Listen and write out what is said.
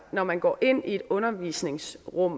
når man går ind i et undervisningsrum